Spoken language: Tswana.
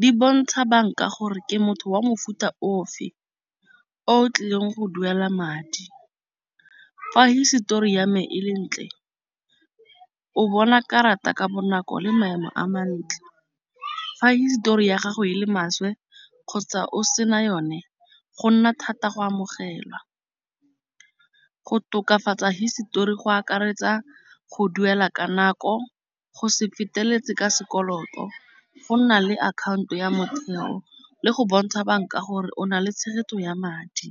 di bontsha banka gore ke motho wa mofuta ofe. O tlileng go duela madi fa hisetori ya me e le ntle o bona karata ka bonako le maemo a mantle. Fa hisetori ya gago e le maswe kgotsa o sena yone go nna thata go amogelwa go tokafatsa hisetori go akaretsa go duela ka nako go se feteletse ka sekoloto. Go nna le akhaonto ya motheo le go bontsha banka gore o na le tshegetso ya madi.